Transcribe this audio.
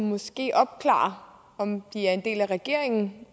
måske opklare om de er en del af regeringen